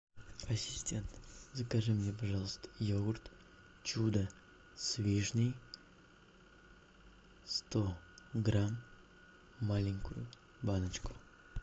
ассистент закажи мне пожалуйста йогурт чудо с вишней сто грамм маленькую баночку